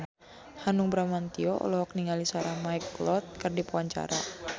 Hanung Bramantyo olohok ningali Sarah McLeod keur diwawancara